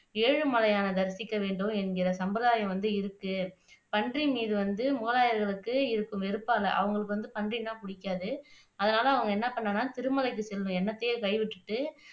ஏழுமலையானை தரிசிக்கவேண்டும் என்கிற சம்பிரதாயம் வந்து இருக்கு பன்றி மீது வந்து முகலாயர்களுக்கு இருக்கும் வெறுப்பால அவங்களுக்கு வந்து பன்றினா புடிக்காது அதனால அவங்க என்ன பண்ணுனாங்கன்னா திருமலைக்கு செல்லும் எண்ணத்தையே கைவிட்டுட்டு